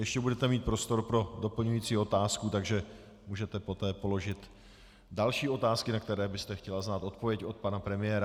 Ještě budete mít prostor pro doplňující otázku, takže můžete poté položit další otázky, na které byste chtěla znát odpověď od pana premiéra.